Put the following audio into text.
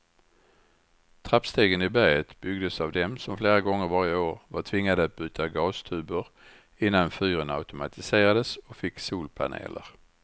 Trappstegen i berget byggdes av dem som flera gånger varje år var tvingade att byta gastuber innan fyren automatiserades och fick solpaneler.